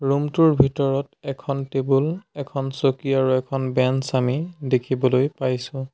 Room টোৰ ভিতৰত এখন টেবুল এখন চকী আৰু এখন বেঞ্চ আমি দেখিবলৈ পাইছোঁ।